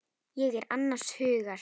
Ég er annars hugar.